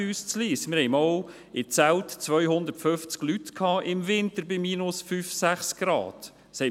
Wir hatten einmal im Winter 250 Leute bei minus 5 oder 6 Grad in Zelten.